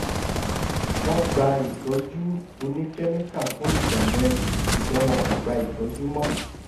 wọ́n gba ìtọ́jú oníkẹ́míkà fún ìgbà mẹ́rin ṣùgbọ́n wọn kò gba ìtọ́jú mọ́